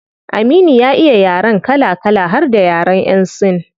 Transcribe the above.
Aminu ya iya yaren kala kala har da yaren yan sin